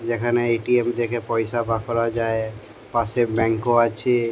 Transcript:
যেখানে এ.টি.এম. থেকে পয়সা বা করা যায় পাশে ব্যাঙ্ক -ও আছে।